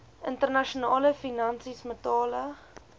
internasionale finansies metale